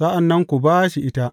Sa’an nan ku ba shi ita.